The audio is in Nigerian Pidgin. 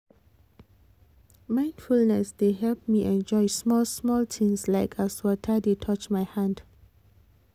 mindfulness dey help me enjoy small small things like as water dey touch my hand